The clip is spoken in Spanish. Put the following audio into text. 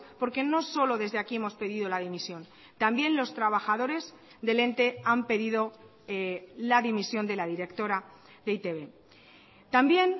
porque no solo desde aquí hemos pedido la dimisión también los trabajadores del ente han pedido la dimisión de la directora de e i te be también